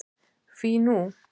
Hví nú?